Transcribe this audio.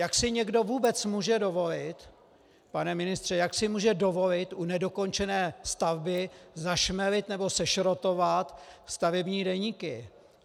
Jak si někdo vůbec může dovolit, pane ministře, jak si může dovolit u nedokončené stavby zašmelit nebo sešrotovat stavební deníky?